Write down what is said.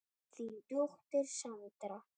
Þín dóttir, Sandra.